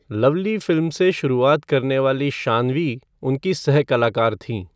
Lovely फ़िल्म से शुरुआत करने वाली शान्वी उनकी सह कलाकार थीं।